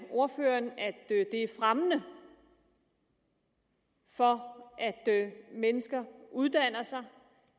ordføreren at det er fremmende for at mennesker uddanner sig